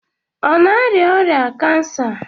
Ọ na-arịa ọrịa kansa?